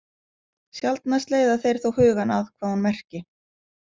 Sjaldnast leiða þeir þó hugann að hvað hún merki.